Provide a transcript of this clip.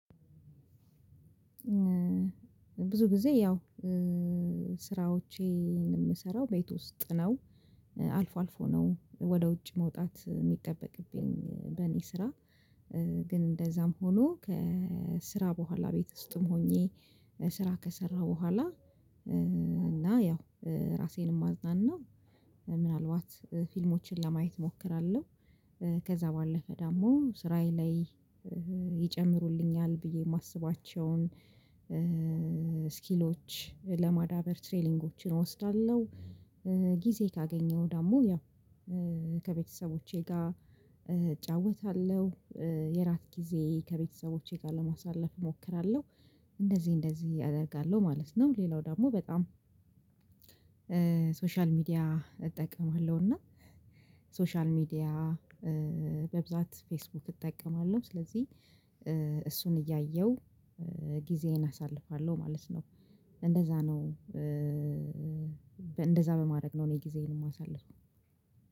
ብዙ ጊዜ ያው ስራዎቼን የምሰራው ቤት ውስጥ ነው አልፎ አልፎ ነው ወደ ውጭ መውጣት የሚጠበቅብኝ በእኔ ስራ። ግን እንደዛም ሆኖ ከስራ በኋላ ቤት ውስጥም ሆኜ ስራ ከሰራ በኋላ። እና ያው ራሴንም አዝናናለው ምናልባት ፊልሞችን ለማየት እሞክራለሁ። ከዛ ባለፈ ደግሞ ስራዬ ላይ ይጨምሩልኛል ብዬ የማስባቸውን ስኪሎች ለማዳበር ትሬሊንጎችን እወስዳለሁ። ጊዜ ካገኘሁ ደግሞ ያው ከቤተሰቦቼ ጋር እጫወታለሁ። የራት ጊዜ ከቤተሰቦቼ ጋር ለማሳለፍ እሞክራለሁ እንደዚህ እንደዚህ አደርጋለሁ ማለት ነው። ሌላው ደግሞ በጣም ሶሻል ሚዲያ እጠቀማለሁ እና ሶሻል ሚዲያ በብዛት ፌስቡክ እጠቀማለሁ። ስለዚህ እሱን እያየሁ ጊዜዬን አሳልፋለሁ ማለት ነው። እንደዛ ነው። እንደዛ በማድረግ ነው እኔ ጊዜዬን የማሳልፍም